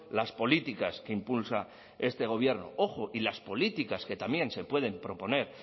las políticas que impulsa este gobierno ojo y las políticas que también se pueden proponer